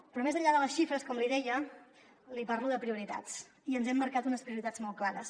però més enllà de les xifres com li deia li parlo de prioritats i ens hem marcat unes prioritats molt clares